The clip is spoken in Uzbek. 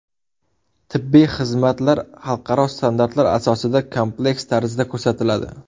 Tibbiy xizmatlar xalqaro standartlar asosida kompleks tarzda ko‘rsatiladi.